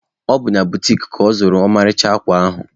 Ọ bụ na butiki ka ọ zụrụ ọmarịcha akwa ahụ.